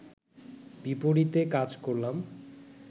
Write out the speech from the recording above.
বিপরীতে কাজ করলাম